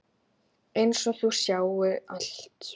Einsog þau sjái allt.